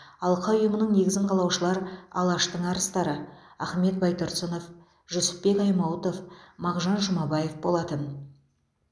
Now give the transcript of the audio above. алқа ұйымының негізін қалаушылар алаштың арыстары ахмет байтұрсынов жүсіпбек аймауытов мағжан жұмабаев болатын